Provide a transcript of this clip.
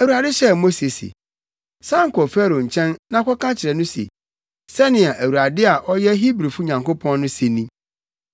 Awurade hyɛɛ Mose se, “San kɔ Farao nkyɛn na kɔka kyerɛ no se, ‘Sɛnea Awurade a ɔyɛ Hebrifo Nyankopɔn no se ni,’